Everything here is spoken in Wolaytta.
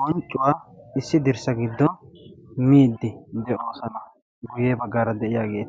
bonccuwaa issi dirssa giddon middi de'oosana guyye baggaara de'iyaagee